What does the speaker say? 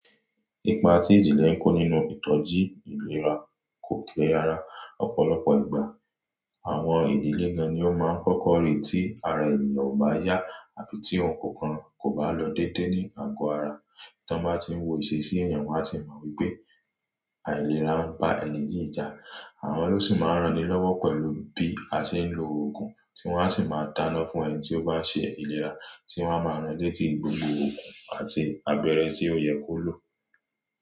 Ipa tí ìjìnlẹ̀ ń kó nínú ìtọ́jú ìlera kò kí ara ọ̀pọ̀lọpọ̀ ìgbà. Àwọn ìdílé gan ni ó máa ń kọ́kọ́ rí tí ara ènìyàn ò bá yá àbí tí ohun kan kò bá lọ dédé ní àgọ́ ara. Tí wọ́n bá tí ń wò ìṣesí èèyàn, wọn a sì mọ wípé àìlera ń ba ènìyí jà. Àwọn lóṣi máa ń ranni lọ́wọ́ pẹ̀lú bí a ṣe ń lo oògùn, tí wọ́n a sì máa dáná fún ẹni tí ó bá ṣe ìlera, tí wọ́n a máa ran létí gbogbo òògùn àti abẹ́rẹ́ tí ó yẹ kó lò.